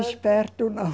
Esperto não.